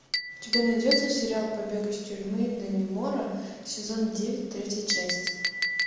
у тебя найдется сериал побег из тюрьмы даннемора сезон девять третья часть